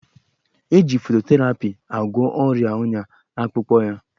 Eji fototerapi agwọ ọrịa ọnya akpụkpọ ya